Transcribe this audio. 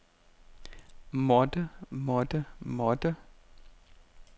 måtte måtte måtte